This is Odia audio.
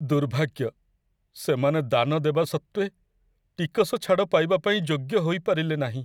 ଦୁର୍ଭାଗ୍ୟ! ସେମାନେ ଦାନ ଦେବା ସତ୍ତ୍ୱେ, ଟିକସ ଛାଡ଼ ପାଇବା ପାଇଁ ଯୋଗ୍ୟ ହୋଇପାରିଲେ ନାହିଁ।